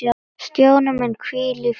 Stjáni minn, hvíl í friði.